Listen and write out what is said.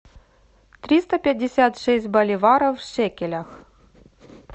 триста пятьдесят шесть боливаров в шекелях